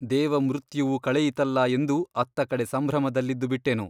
ದೇವಮೃತ್ಯುವು ಕಳೆಯಿತಲ್ಲಾ ಎಂದು ಅತ್ತಕಡೆ ಸಂಭ್ರಮದಲ್ಲಿದ್ದು ಬಿಟ್ಟೆನು.